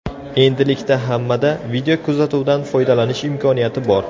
Endilikda hammada videokuzatuvdan foydalanish imkoniyati bor.